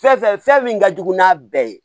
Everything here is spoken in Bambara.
Fɛn fɛn fɛn min ka jugu n'a bɛɛ ye